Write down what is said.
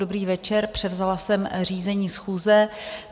Dobrý večer, převzala jsem řízení schůze.